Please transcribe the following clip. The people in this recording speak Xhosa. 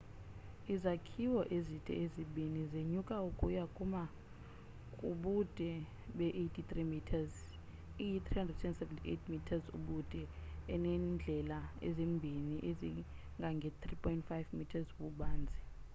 izakhiwo ezide ezibini zenyuka ukuya kuma kubude be 83 meters iyi 378 meters ubude inendlela ezimbini ezingange 3.50 m ububanzi